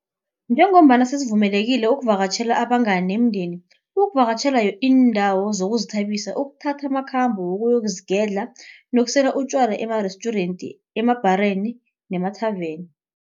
Njengombana sesivumelekile ukuvakatjhela abangani nemindeni, ukuvakatjhela iindawo zokuzithabisa, ukuthatha amakhambo wokuyozigedla nokusela utjwala emarestjurenti, emabhareni nemathaveni.